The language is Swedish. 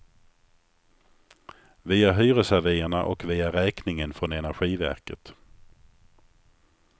Via hyresavierna och via räkningen från energiverket.